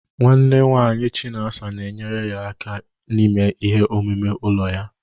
Nwanne nwanyi chinasa na-enyere ya aka ịme ihe omume ụlọ ya.